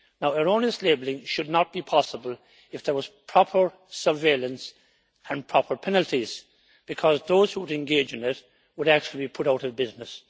Erroneous labelling would not be possible if there were proper surveillance and proper penalties, because those who would engage in it would actually be put out of business.